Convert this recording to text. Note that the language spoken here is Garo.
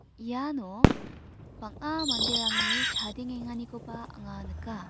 iano bang·a manderangni chadengenganikoba anga nika.